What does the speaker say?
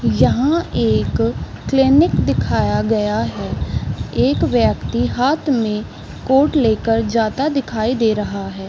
यहाँ एक क्लिनिक दिखाया गया है एक व्यक्ति हाथ में कोट लेकर जाता दिखाई दे रहा है।